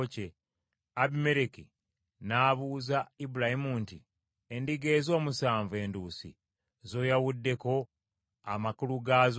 Abimereki n’abuuza Ibulayimu nti, “Endiga ezo omusanvu enduusi z’oyawuddeko amakulu gaazo ki?”